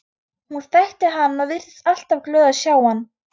Hún þekkti hann og virtist alltaf glöð að sjá hann.